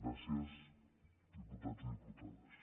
gràcies diputats i diputades